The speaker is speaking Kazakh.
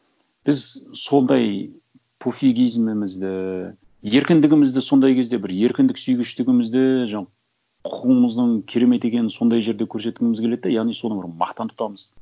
біз сондай пофигизмімізді еркіндігімізді сондай кезде бір еркіндік сүйгіштігімізді жаңа құқығымыздың керемет екенін сондай жерде көрсеткіміз келеді да яғни соны бір мақтан тұтамыз